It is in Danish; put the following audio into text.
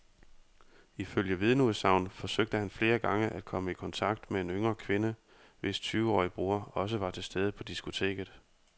Ifølge vidneudsagn forsøgte han flere gange at komme i kontakt med en yngre kvinde, hvis tyveårige bror også var til stede på diskoteket.